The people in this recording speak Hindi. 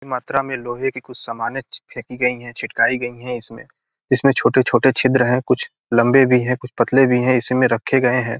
मात्रा में लोहे की कुछ सामने फ फेंकी गई है छिटकाई गई हैं इसमें इसमें छोटे-छोटे छिद्र हैं कुछ लम्बे भी हैं कुछ पतले भी हैं इसी में रखे गए है।